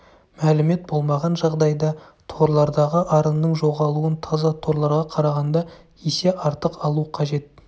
мәлімет болмаған жағдайда торлардағы арынның жоғалуын таза торларға қарағанда есе артық алу қажет